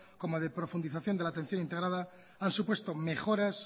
como de profundización de la atención integrada han supuesto mejoras